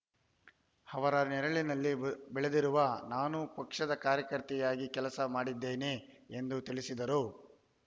ಅವರ ನೆರಳಿನಲ್ಲಿ ಬೆಳೆದಿರುವ ನಾನು ಪಕ್ಷದ ಕಾರ್ಯಕರ್ತೆಯಾಗಿ ಕೆಲಸ ಮಾಡಿದ್ದೇನೆ ಎಂದು ತಿಳಿಸಿದರು